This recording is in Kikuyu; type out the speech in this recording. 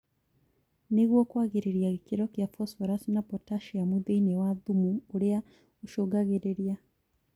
nĩguo kwagĩrĩria gĩkĩro kĩa phosphorus na potasiamu thĩinĩ wa thumu ũrĩa ũcũngagĩrĩria.